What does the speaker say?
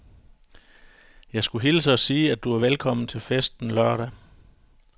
Jeg skulle hilse og sige, at du er velkommen til festen lørdag.